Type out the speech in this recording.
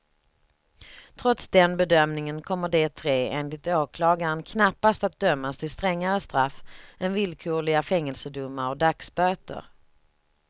Trots den bedömningen kommer de tre, enligt åklagaren, knappast att dömas till strängare straff än villkorliga fängelsedomar och dagsböter.